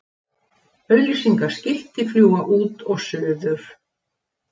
Auglýsingaskilti fljúga út og suður